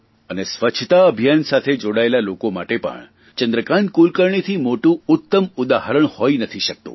અને સ્વચ્છતા અભિયાન સાથે જોડાયેલા લોકો માટે પણ ચંદ્રકાન્ત કુલકર્ણીથી મોટું ઉત્તમ ઉદાહરણ હોઇ નથી શકતું